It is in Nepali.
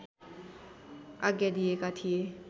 आज्ञा दिएका थिए